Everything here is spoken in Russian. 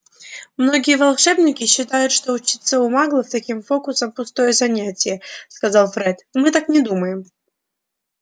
многие волшебники считают что учиться у маглов таким фокусам пустое занятие сказал фред мы так не думаем